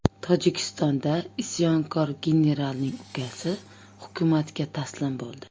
Tojikistonda isyonkor generalning ukasi hukumatga taslim bo‘ldi.